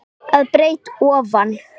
að breidd ofan.